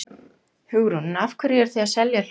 Hugrún: En af hverju eruð þið að selja hlutina?